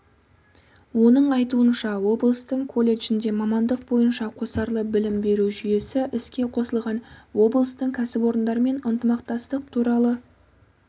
оның айтуынша облыстың колледжінде мамандық бойынша қосарлы білім беру жүйесі іске қосылған облыстың кәсіпорындарымен ынтымақтастық туралы